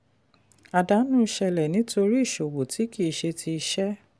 àdánù ṣẹlẹ̀ nítorí ìṣòwò tí kì í ṣe ti iṣẹ́.